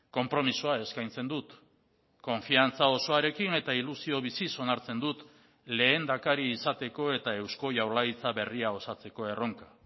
konpromisoa eskaintzen dut konfiantza osoarekin eta ilusio biziz onartzen dut lehendakari izateko eta eusko jaurlaritza berria osatzeko erronka